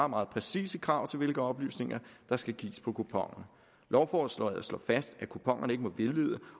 meget præcise krav til hvilke oplysninger der skal gives på kuponerne lovforslaget slår fast at kuponerne ikke må vildlede